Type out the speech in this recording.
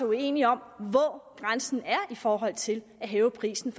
uenige om hvor grænsen er i forhold til at hæve prisen